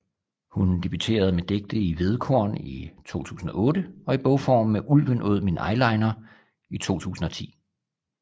Hun debuterede med digte i Hvedekorn i 2008 og i bogform med Ulven åd min eyeliner i 2010